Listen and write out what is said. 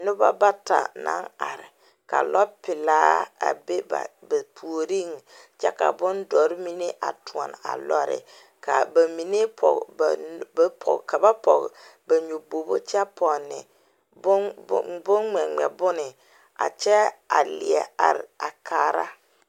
Noba bata la are ka lɔpelaa a be ba ouoriŋ kyɛ ka bondɔre mine a toɔne a lɔre ka ba mine pɔɡe ba nyoboɡokyɛ pɔne boŋŋmɛŋmɛ bone a kyɛ a leɛ are kaara.